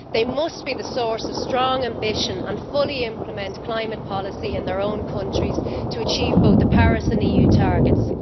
They must be the source of strong ambition and fully implement climate policy in their own countries to achieve both the Paris and EU targets.